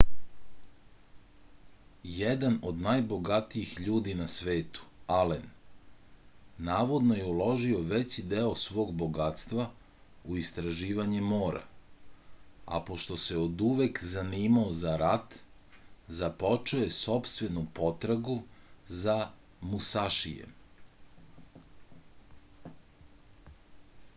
jedan od najbogatijih ljudi na svetu alen navodno je uložio veći deo svog bogatstva u istraživanje mora a pošto se oduvek zanimao za rat započeo je sopstvenu potragu za musašijem